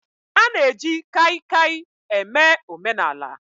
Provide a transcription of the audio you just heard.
A na-eji Kaikai eme omenaala